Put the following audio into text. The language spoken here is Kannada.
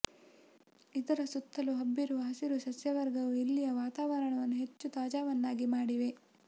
ಇದರ ಸುತ್ತಲೂ ಹಬ್ಬಿರುವ ಹಸಿರು ಸಸ್ಯವರ್ಗವು ಇಲ್ಲಿಯ ವಾತಾವರಣವನ್ನು ಹೆಚ್ಚು ತಾಜಾವನ್ನಾಗಿ ಮಾಡಿವೆ